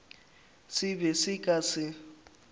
se be se ka se